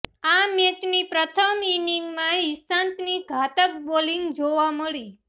આ મેચની પ્રથમ ઇનિંગમાં ઈશાંતની ઘાતક બોલિંગ જોવા મળી